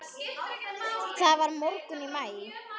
Það var morgunn í maí.